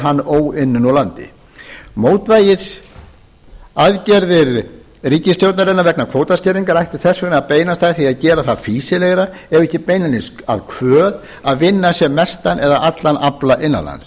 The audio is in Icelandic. hann óunninn úr landi mótvægisaðgerðir ríkisstjórnarinnar vegna kvótaskerðingar ættu þess vegna að beinast að því að gera það fýsilegra ef ekki beinlínis að kvöð að vinna sem mestan eða allan afla innanlands